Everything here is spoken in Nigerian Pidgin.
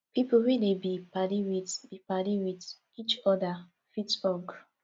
pipo wey dey be padi with be padi with each oda fit hug